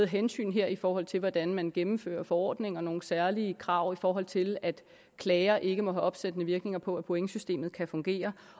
hensyn her i forhold til hvordan man gennemfører forordninger og nogle særlige krav i forhold til at klager ikke må have opsættende virkning på at pointsystemet kan fungere